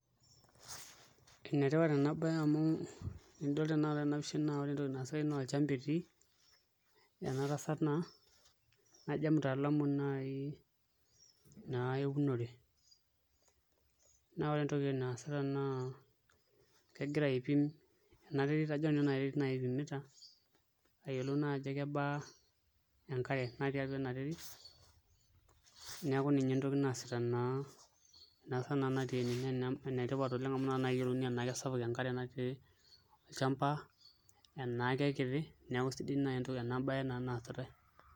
Enetipat ena baye amu ore ena pisha entoki naasitai naa olchamba etiiki, ene tasat naa najo emtaalamu naai naa eunore naa entoki naasita naa ena terit ipimita ajo nanu ena terit ipimita aayiolou naa ajo kebaa enkare natii ena terit neeku ninye entoki naasita naa ena tasat natii ene naa enetipat oleng' amu nakata naa eyiolouni enaa kesapuk enkare olchamba enaa kekiti, neeku sidai naai ena baye naa naasitai.